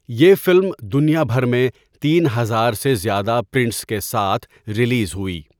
یہ فلم دنیا بھر میں تین ہزار سے زیادہ پرنٹس کے ساتھ ریلیز ہوئی۔